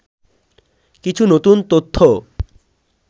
কিছু নতুন তথ্য